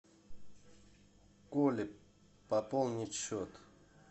коле пополнить счет